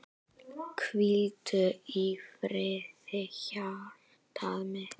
Hvíldu í friði hjartað mitt.